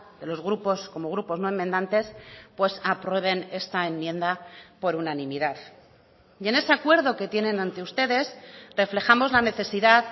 de los grupos como grupos no enmendantes pues aprueben esta enmienda por unanimidad y en ese acuerdo que tienen ante ustedes reflejamos la necesidad